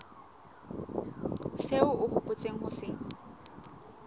seo o hopotseng ho se